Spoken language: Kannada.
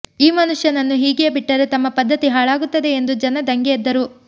ಈ ಮನುಷ್ಯನನ್ನು ಹೀಗೇಯೇ ಬಿಟ್ಟರೆ ತಮ್ಮ ಪದ್ಧತಿ ಹಾಳಾಗುತ್ತದೆ ಎಂದು ಜನ ದಂಗೆ ಎದ್ದರು